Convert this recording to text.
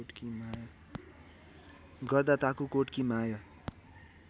गर्दा ताकुकोट कि माय